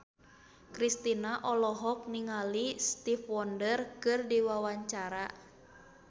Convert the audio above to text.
Kristina olohok ningali Stevie Wonder keur diwawancara